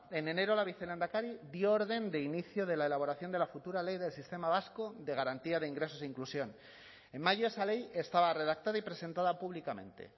en enero la vicelehendakari dio orden de inicio de la elaboración de la futura ley del sistema vasco de garantía de ingresos e inclusión en mayo esa ley estaba redactada y presentada públicamente